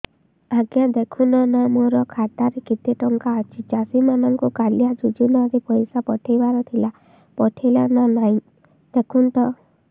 ଆଜ୍ଞା ଦେଖୁନ ନା ମୋର ଖାତାରେ କେତେ ଟଙ୍କା ଅଛି ଚାଷୀ ମାନଙ୍କୁ କାଳିଆ ଯୁଜୁନା ରେ ପଇସା ପଠେଇବାର ଥିଲା ପଠେଇଲା ନା ନାଇଁ ଦେଖୁନ ତ